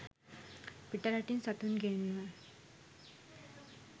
පිට රටින් සතුන් ගෙන්වා